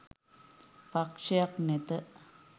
පක්‍ෂයක් නැත